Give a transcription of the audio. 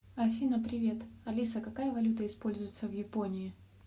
афина привет алиса какая валюта используется в японии